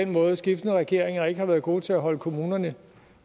måde at skiftende regeringer ikke har været gode til at holde kommunerne